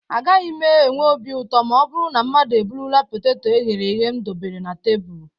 A gaghị m enwe obi ụtọ ma ọ bụrụ na mmadụ eburula poteto e ghere eghe m debere na tebụl